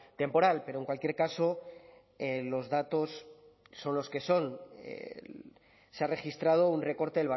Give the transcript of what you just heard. temporal pero en cualquier caso los datos son los que son se ha registrado un recorte